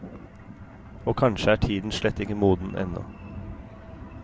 Og kanskje er tiden slett ikke moden ennå.